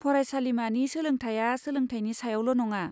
फरायसालिमानि सोलोंथाया सोलोंथायनि सायावल' नङा।